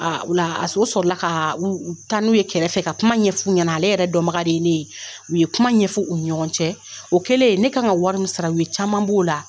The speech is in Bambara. ola a s o sɔrɔla kaa u u taa n'u ye kɛrɛfɛ ka kuma ɲɛf'u ɲɛna ale yɛrɛ dɔnbaga de ye ne ye. U ye kuma ɲɛfu u ni ɲɔgɔn cɛ. O kɛlen ne kan ka wari min sara u ye caaman b'o la.